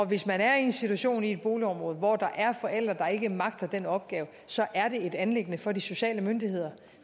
hvis man er i en situation i et boligområde hvor der er forældre der ikke magter den opgave så er det et anliggende for de sociale myndigheder